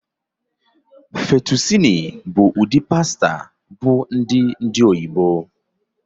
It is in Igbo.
Fettucini bụ ụdị pasta bụ ndị ndị oyibo